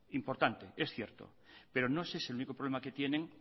importante es cierto pero no es ese el único problema que tienen